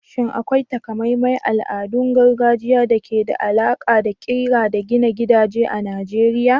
Shin akwai taƙamaiman al'adun gargajiya da ke da alaƙa da ƙira da gina gidaje a Najeriya?